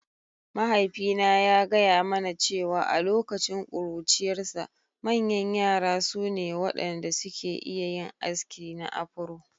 Mahaifina ya gaya mana cewa a lokacin ƙuruciyarsa, manyan yara su ne waɗanda suke iya yin aski na Afro.